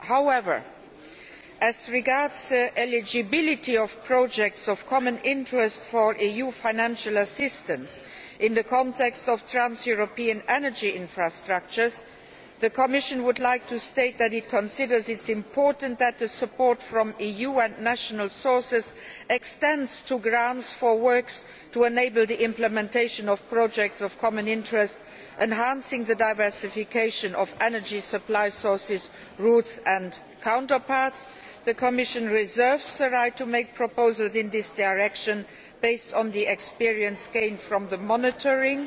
However, as regards the eligibility of projects of common interest for EU financial assistance in the context of trans European energy infrastructures, the Commission would like to state that it considers it important that the support from the EU and national sources extends to grants for works to enable the implementation of projects of common interest, enhancing the diversification of energy supply sources, routes and counterparts. The Commission reserves the right to make proposals in this direction based on the experience gained from the monitoring